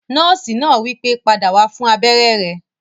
Nọ́ọ̀sì náà wípé, "padà wá fún abéré rẹ!"